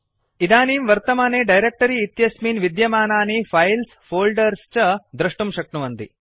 इदानीं वर्तमाने डायरेक्ट्री इत्यस्मिन् विद्यमानानि फाइल्स् फोल्डर्स् च दृष्टुम् शक्नुवन्ति